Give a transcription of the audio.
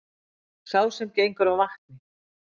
Sá sem gengur á vatni,